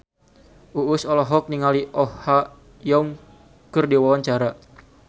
Uus olohok ningali Oh Ha Young keur diwawancara